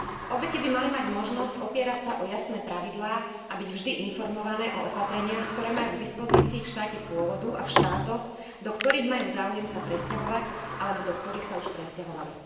Obete by mali mať možnosť opierať sa o jasné pravidlá a byť vždy informované o opatreniach, ktoré majú k dispozícii v štáte pôvodu a v štátoch, do ktorých majú záujem sa presťahovať alebo do ktorých sa už presťahovali.